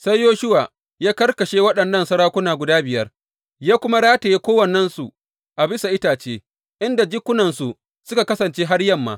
Sai Yoshuwa ya karkashe waɗannan sarakuna guda biyar, ya kuma rataye kowannensu a bisa itace inda jikunansu suka kasance har yamma.